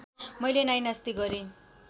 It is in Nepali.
मैले नाइनास्ती गरेँ